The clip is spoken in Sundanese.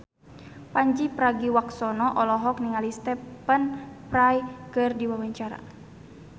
Pandji Pragiwaksono olohok ningali Stephen Fry keur diwawancara